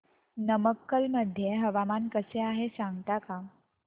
नमक्कल मध्ये हवामान कसे आहे सांगता का